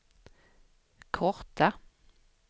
korta